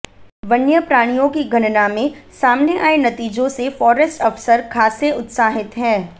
वन्य प्राणियों की गणना में सामने आये नतीजों से फारेस्ट अफसर खासे उत्साहित हैं